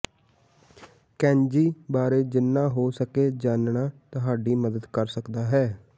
kanji ਬਾਰੇ ਜਿੰਨਾ ਹੋ ਸਕੇ ਜਾਣਨਾ ਤੁਹਾਡੀ ਮਦਦ ਕਰ ਸਕਦਾ ਹੈ